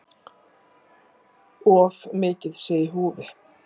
Of mikið sé í húfi.